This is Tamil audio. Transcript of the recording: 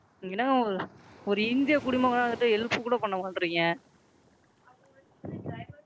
என்ன Ma'am ஒரு இந்தியக் குடிமகனா இருந்துட்டு Help கூட பண்ண மாட்டுறீங்க?